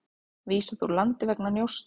Vísað úr landi vegna njósna